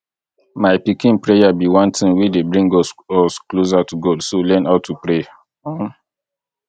my pikin prayer be one thing wey dey bring us us closer to god so learn how to pray um